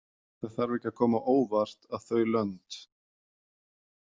Það þarf ekki að koma á óvart að þau lönd.